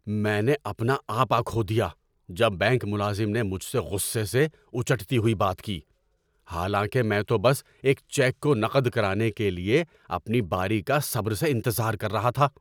میں نے اپنا آپا کھو دیا جب بینک ملازم نے مجھ سے غصے سے اچٹتی ہوئی بات کی، حالاں کہ میں تو بس ایک چیک کو نقد کرانے کے لیے اپنی باری کا صبر سے انتظار کر رہا تھا۔